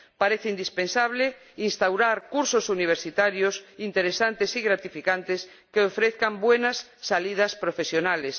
Parece indispensable instaurar cursos universitarios interesantes y gratificantes que ofrezcan buenas salidas profesionales.